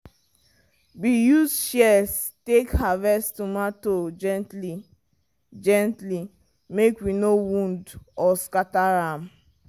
we use shears take harvest tomato gently-gently make we no wound or scatter am.